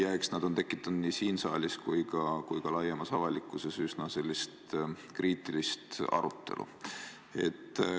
Eks nad ole tekitanud nii siin saalis kui ka laiemas avalikkuses üsna kriitilist arutelu.